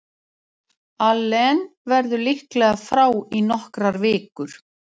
Allen verður líklega frá í nokkrar vikur.